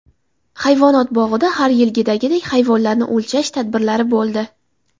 Hayvonot bog‘ida har yilgidagidek, hayvonlarni o‘lchash tadbirlari bo‘ldi.